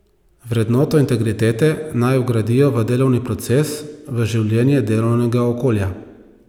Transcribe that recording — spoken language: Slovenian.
Vrednoto integritete naj vgradijo v delovni proces, v življenje delovnega okolja.